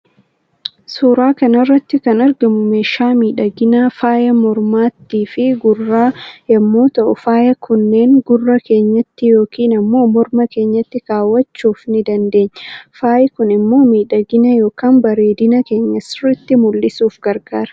Suuraa kanarratti kan argamu meesha miidhagina faaya mormaatti fi gurra yommuu ta'u faaya kunneen gurra keenyatti yookin immo morma keenyatti kaawwachuuf ni dandeenya. Faayi Kun immoo miidhagina yookan bareedina keenya sirritti mul'isuuf gargaara.